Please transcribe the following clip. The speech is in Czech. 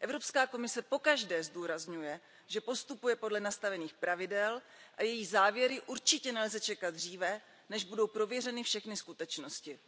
Evropská komise pokaždé zdůrazňuje, že postupuje podle nastavených pravidel, a její závěry určitě nelze čekat dříve, než budou prověřeny všechny skutečnosti.